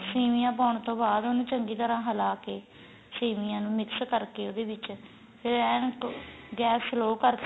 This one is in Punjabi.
ਸੇਮੀਆਂ ਪਾਉਣ ਤੋਂ ਬਾਅਦਉਹਨੂੰ ਚੰਗੀ ਤਰ੍ਹਾਂ ਹਲਾ ਕੇ ਸੇਮੀਆਂ ਨੂੰ mix ਕਰਕੇ ਉਹਦੇ ਵਿਚ ਫੇਰ ਏਨ ਗੈਸ slow ਕਰਕੇ